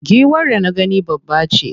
Giwar da na gani babbace.